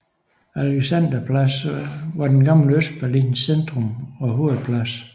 Alexanderplatz var den gamle Østberlins centrum og hovedplads